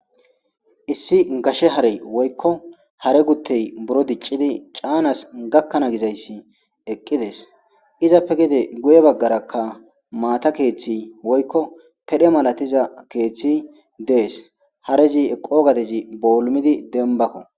issi gashe hare woykko hare guttey buro diccidi caanas gakkana gizayssi eqqidees izappe gede guye baggaraka maata keeththi woykko pedhe malatiza keeththi dees harezi eqo gadezi boolmidi denbakka